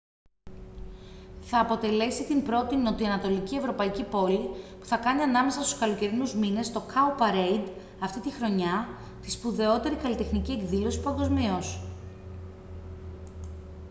θα αποτελέσει την πρώτη νοτιοανατολική ευρωπαϊκή πόλη που θα κάνει ανάμεσα στους καλοκαιρινούς μήνες το cowparade αυτήν τη χρονιά τη σπουδαιότερη καλλιτεχνική εκδήλωση παγκοσμίως